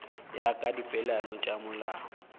ya ka dipeelano tša molao